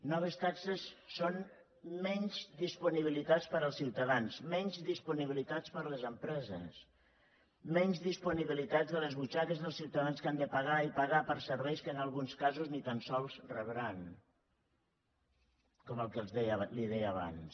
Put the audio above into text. noves taxes són menys disponibilitats per als ciutadans menys disponibilitats per a les empreses menys disponibilitats a les butxaques dels ciutadans que han de pagar i pagar per serveis que en alguns casos ni tan sols rebran com el que li deia abans